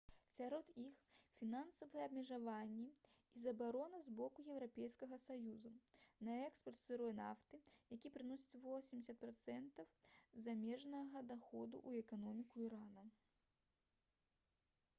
сярод іх фінансавыя абмежаванні і забарона з боку еўрапейскага саюза на экспарт сырой нафты які прыносіць 80% замежнага даходу ў эканоміку ірана